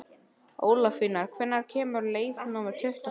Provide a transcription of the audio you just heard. Ólafína, hvenær kemur leið númer tuttugu og fimm?